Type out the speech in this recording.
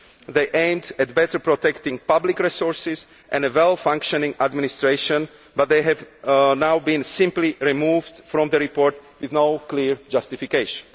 They are aimed at better protecting public resources and a well functioning administration but they have now been simply removed from the report with no clear justification.